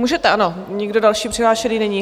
Můžete, ano, nikdo další přihlášený není.